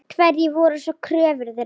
Hverjar voru svo kröfur þeirra?